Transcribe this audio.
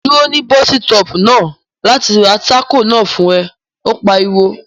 Dúró ní bọ́sítọ̀ọ̀pù náà láti ra tákò náà fún rẹ! Ó pariwo